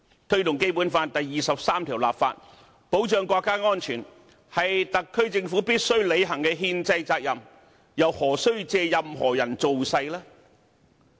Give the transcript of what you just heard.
推動《基本法》第二十三條立法，保障國家安全，是特區政府必須履行的憲制責任，又何需借任何人造勢。